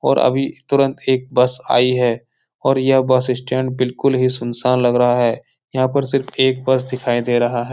और अभी तुरंत एक बस आई है और यह बस स्टैण्ड बिल्कुल ही सुन-सान लग रहा है यहाँ पर सिर्फ एक बस दिखाई दे रहा है।